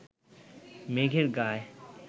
মেঘের গায়